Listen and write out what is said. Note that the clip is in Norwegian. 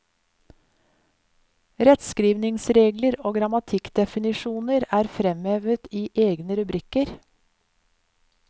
Rettskrivningsregler og grammatikkdefinisjoner er fremhevet i egne rubrikker.